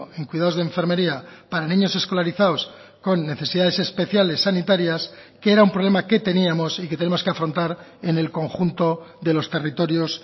en cuidados de enfermería para niños escolarizados con necesidades especiales sanitarias que era un problema que teníamos y que tenemos que afrontar en el conjunto de los territorios